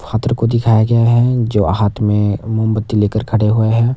हात्र को दिखाया गया है जो हाथ में मोमबत्ती लेकर खड़े हुए हैं।